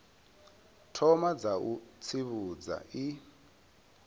thoma dza u tsivhudza i